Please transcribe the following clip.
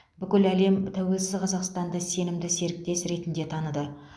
бүкіл әлем тәуелсіз қазақстанды сенімді серіктес ретінде таныды